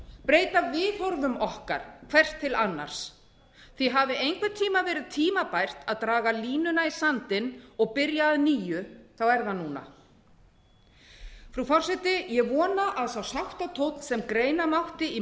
breyta viðhorfum okkar hvert til annars hafi einhvern tíma verið tímabært að draga línuna í sandinn og byrja að nýju er það núna frú forseti ég vona að sá sáttatónn sem greina mátti í